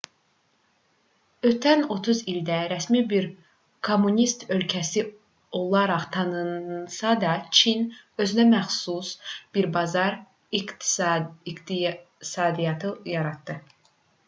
ötən 30 ildə rəsmi bir kommunist ölkəsi olaraq tanınsa da çin özünəməxsus bir bazar iqtisadiyyatı yaratdı